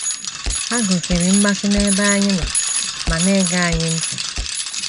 Ha gosịrị mmasị n’ebe anyị nọ ma na - ege anyị ntị.